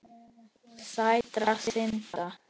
Sætra synda.